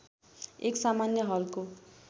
एक सामान्य हलको